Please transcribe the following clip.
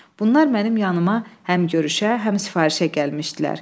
Bunlar mənim yanımdan həm görüşə, həm sifarişə gəlmişdilər.